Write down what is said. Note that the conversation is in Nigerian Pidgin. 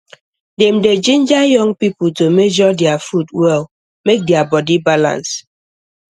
dem dey ginger young people to measure their food well make their body balance